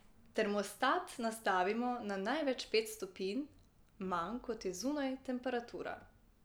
Termostat nastavimo na največ pet stopinj manj, kot je zunanja temperatura.